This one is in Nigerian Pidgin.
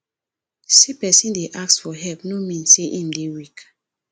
sey pesin dey ask for help no mean sey im dey weak